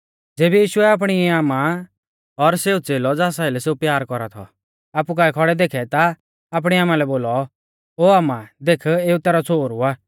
ज़ेबी यीशुऐ आपणी आमा और सेऊ च़ेलौ ज़ास आइलै सेऊ प्यार कौरा थौ आपु काऐ खौड़ै देखै ता आपणी आमा लै बोलौ ओ आमा देख एऊ तैरौ छ़ोहरु आ